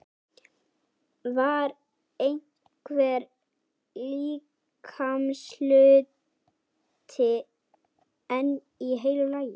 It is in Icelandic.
Var einhver líkamshluti enn í heilu lagi?